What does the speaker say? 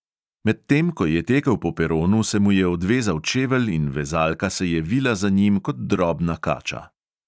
Medtem ko je tekel po peronu, se mu je odvezal čevelj in vezalka se je vila za njim kot drobna kača.